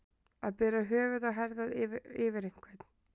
Að bera höfuð og herðar yfir einhvern